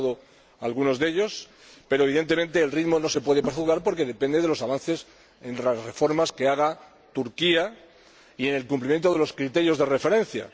Yo he citado algunos de ellos pero, evidentemente, el ritmo no se puede prever porque depende de los avances en las reformas que haga Turquía y en el cumplimiento de los criterios de referencia.